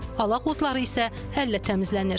Alaq otları isə əllə təmizlənir.